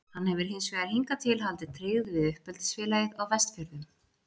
Hann hefur hins vegar hingað til haldið tryggð við uppeldisfélagið á Vestfjörðum.